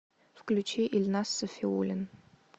включи ильназ сафиуллин